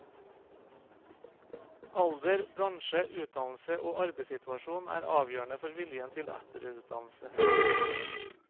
Alder, bransje, utdannelse og arbeidssituasjon er avgjørende for viljen til etterutdannelse.